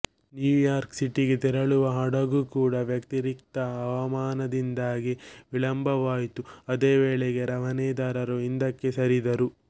New York ಸಿಟಿಗೆ ತೆರಳುವ ಹಡಗು ಕೂಡಾ ವ್ಯತಿರಿಕ್ತ ಹವಾಮಾನದಿಂದಾಗಿ ವಿಳಂಬವಾಯಿತುಅದೇ ವೇಳೆಗೆ ರವಾನೆದಾರರು ಹಿಂದಕ್ಕೆ ಸರಿದರು